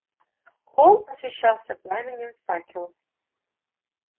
холл освещался пламенем факелов